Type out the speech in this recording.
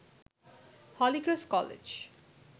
Holy Cross college